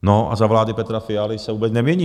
No a za vlády Petra Fialy se vůbec nemění.